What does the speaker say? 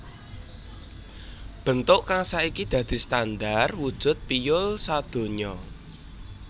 Bentuk kang saiki dadi standar wujud piyul sadonya